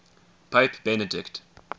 pope benedict